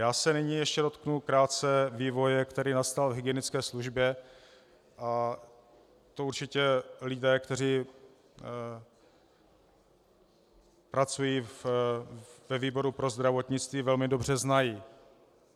Já se nyní ještě dotknu krátce vývoje, který nastal v hygienické službě, a to určitě lidé, kteří pracují ve výboru pro zdravotnictví, velmi dobře znají.